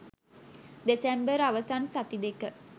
දෙසැම්බර් අවසන් සති දෙක